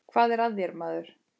Hvað er að þér, maður?